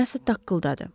Nəsə taqqıldadı.